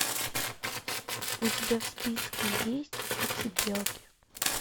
у тебя в списке есть фиксипелки